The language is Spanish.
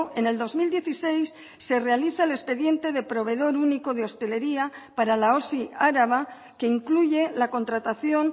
en el dos mil dieciséis se realiza el expediente de proveedor único de hostelería para la osi araba que incluye la contratación